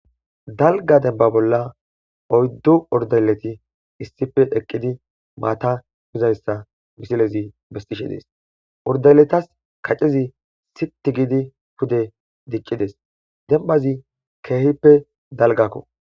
dalgga denba bolla oyddu urdaleti issife eqqidi maatta miizayssa miisiilezi besishshe de'ees urdaleta kaccezi siiti gidi pude diccidees dembazi ke'ihippe dalggakko